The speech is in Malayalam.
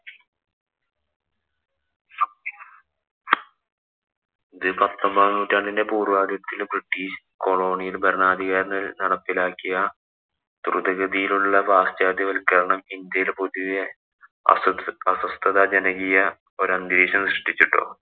പത്തൊമ്പതാം നൂറ്റാണ്ടിന്‍റെ പൂര്‍വാദിക്കില് ബ്രിട്ടീഷ് കൊളോണിയല്‍ ഭരണാധികാരികള്‍ നടപ്പിലാക്കിയ ദ്രുതഗതിയിലുള്ള പാശ്ചാത്യവല്‍ക്കരണം ഇന്‍ഡ്യയില്‍ പൊതുവേ അസ്വസ്ഥ അസ്വസ്ഥജനകീയ ഒരന്തരീക്ഷം സൃഷ്ടിച്ചു ട്ടോ.